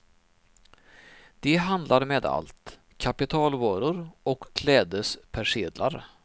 De handlar med allt, kapitalvaror och klädespersedlar.